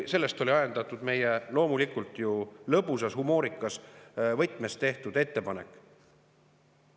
Sellest oli ajendatud meie ettepanek – loomulikult, lõbusas, humoorikas võtmes tehtud ettepanek.